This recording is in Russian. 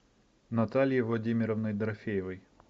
натальей владимировной дорофеевой